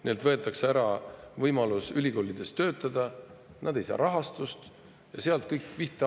Neilt võetakse ära võimalus ülikoolides töötada, nad ei saa rahastust ja sealt hakkab kõik pihta.